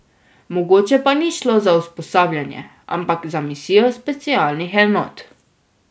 Mogoče pa ni šlo za usposabljanje, ampak za misijo specialnih enot?